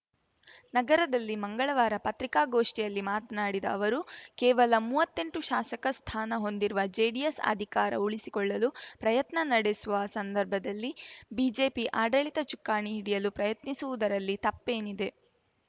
ನಗರದಲ್ಲಿ ಮಂಗಳವಾರ ಪತ್ರಿಕಾಗೋಷ್ಠಿಯಲ್ಲಿ ಮಾತ್ನಾಡಿದ ಅವರು ಕೇವಲ ಮೂವತ್ತೆಂಟು ಶಾಸಕ ಸ್ಥಾನ ಹೊಂದಿರುವ ಜೆಡಿಎಸ್‌ ಅಧಿಕಾರ ಉಳಿಸಿಕೊಳ್ಳಲು ಪ್ರಯತ್ನ ನಡೆಸುವ ಸಂದರ್ಭದಲ್ಲಿ ಬಿಜೆಪಿ ಆಡಳಿತ ಚುಕ್ಕಾಣಿ ಹಿಡಿಯಲು ಪ್ರಯತ್ನಿಸುವುದರಲ್ಲಿ ತಪ್ಪೇನಿದೆ